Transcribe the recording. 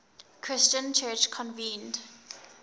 christian church convened